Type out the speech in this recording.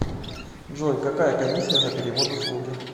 джой какая комисия за перевод услуги